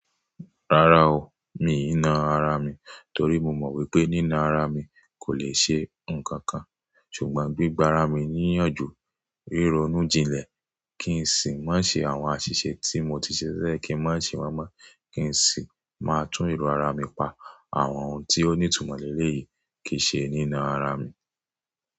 Rárá o, mi ì ná ara mi torí mo mọ̀ wípé nína ara mi kò le ṣe ǹkan kan, ṣùgbọ́n gbígba ara mi níyànjú, ríro inú jinlẹ̀ kí n sì má ṣe àwọn àṣìṣe tí mo ti ṣẹ̀elẹ̀ kí n má ṣe wọ́n mọ́, kí n sì máa tún èrò ara mi pa àwọn ohun tí ó ní ìtumọ̀ léleyìí kì í ṣe nína ara mi.